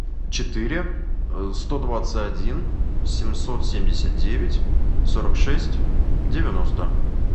четыре сто двадцать один семьсот семьдесят девять сорок шесть девяносто